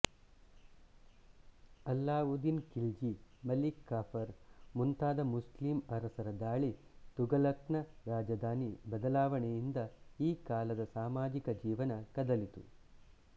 ಅಲ್ಲಾವುದ್ದೀನ್ ಖಿಲ್ಜಿ ಮಲ್ಲಿಕಾಫರ್ ಮುಂತಾದ ಮುಸ್ಲಿಂ ಅರಸರ ದಾಳಿ ತುಘಲಕ್ನ ರಾಜಧಾನಿ ಬದಲಾಣೆಯಿಂದ ಈ ಕಾಲದ ಸಾಮಾಜಿಕ ಜೀವನ ಕದಲಿತು